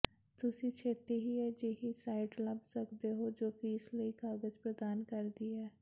ਤੁਸੀਂ ਛੇਤੀ ਹੀ ਅਜਿਹੀ ਸਾਈਟ ਲੱਭ ਸਕਦੇ ਹੋ ਜੋ ਫੀਸ ਲਈ ਕਾਗਜ਼ ਪ੍ਰਦਾਨ ਕਰਦੀ ਹੈ